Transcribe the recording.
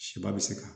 Siba bɛ se ka